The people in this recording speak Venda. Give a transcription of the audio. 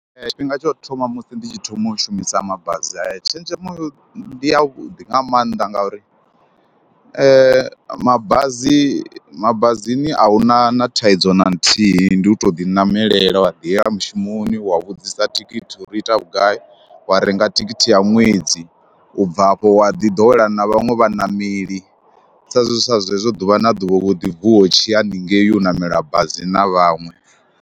Tshifhinga tsha u thoma musi ndi tshi thoma u shumisa mabazi haya, tshenzhemo ndi yavhuḓi nga mannḓa ngauri mabazi mabazini a hu na na thaidzo na nthihi, ndi u tou ḓiṋamelela wa ḓiyela mushumoni, wa vhudzisa thikhithi uri i ita vhugai, wa renga thikhithi ya ṅwedzi u bva hafho wa ḓiḓowela na vhaṅwe vhaṋameli sa zwezwe sa zwezwo ḓuvha na ḓuvha u ḓi vuwa wo tshi ya haningei u ṋamela bazi na vhaṅwe.